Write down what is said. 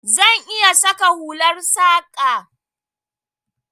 Zan iya saka hular saƙa.